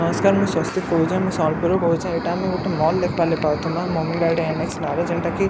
ନମସ୍କାର ମୁଁ ସ୍ଵସ୍ତିକ କହୁଛେ ମୁଁଇ ସମ୍ବଲପୁର ରୁ କହୁଛେ ଇଟା ଆମେ ଗୋଟେ ମଲ୍ ଦେଖବାର୍‌ ଲାଗି ପାଉଥିବା ମମି ଡ଼ାଡୀ ନେଏକ୍ସ ନାଁ ରେ ଜେଣ୍ଟା କି--